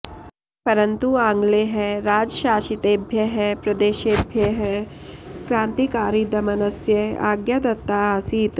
परन्तु आङ्ग्लैः राजशासितेभ्यः प्रदेशेभ्यः क्रान्तिकारिदमनस्य आज्ञा दत्ता आसीत्